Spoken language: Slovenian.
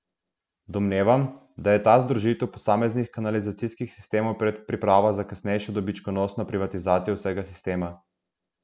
Domnevam, da je ta združitev posameznih kanalizacijskih sistemov predpriprava za kasnejšo dobičkonosno privatizacijo vsega sistema.